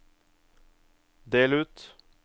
del ut